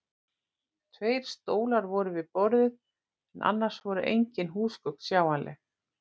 Tveir stólar voru við borðið en annars voru engin húsgögn sjáanleg.